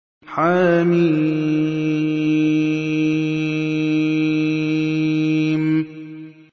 حم